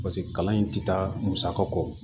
paseke kalan in ti taa musaka kɔ